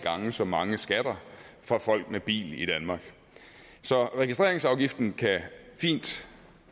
gange så mange skatter fra folk med bil i danmark så registreringsafgiften kan fint